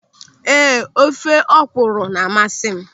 Ee, ofe ọkwụrụ na-amasị m.